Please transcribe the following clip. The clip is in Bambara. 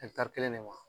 kelen ne ma